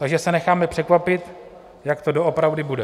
Takže se necháme překvapit, jak to doopravdy bude.